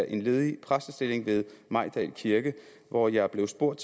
en ledig præstestilling ved mejdal kirke hvor jeg blev spurgt